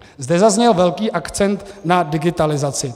Zde zazněl velký akcent na digitalizaci.